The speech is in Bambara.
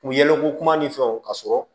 U yɛlɛko kuma ni fɛnw ka sɔrɔ